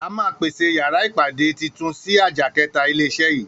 A máà pèsè yàrá ìpàdé titun síi àjà kẹta ilé iṣé yii